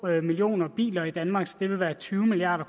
millioner biler i danmark så det ville være tyve milliard